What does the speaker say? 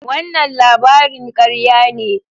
Wannan labarin karya ne.